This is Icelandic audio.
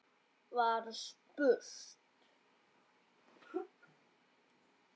var spurt.